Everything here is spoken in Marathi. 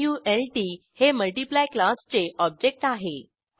मल्ट हे मल्टीप्लाय क्लासचे ऑब्जेक्ट आहे